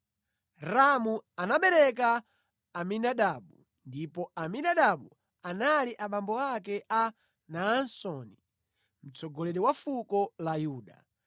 Ramu anabereka Aminadabu ndipo Aminadabu anali abambo ake a Naasoni, mtsogoleri wa fuko la Yuda.